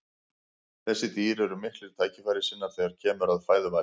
þessi dýr eru miklir tækifærissinnar þegar kemur að fæðuvali